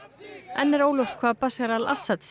enn er óljóst hvað Bashar al Assad